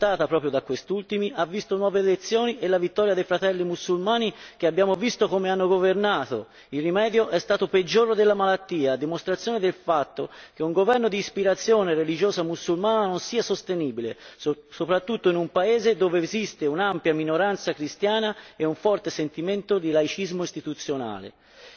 La sua caduta, supportata proprio da questi ultimi, ha visto nuove elezioni e la vittoria dei Fratelli mussulmani, che abbiamo visto come hanno governato il rimedio è stato peggiore della malattia, a dimostrazione del fatto che un governo d'ispirazione religiosa mussulmana non sia sostenibile, soprattutto in un paese dove esiste un'ampia minoranza cristiana e un forte sentimento di laicismo istituzionale.